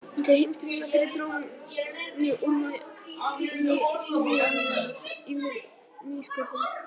Eftir heimsstyrjöldina fyrri dró mjög úr vægi sinfóníunnar í nýsköpun.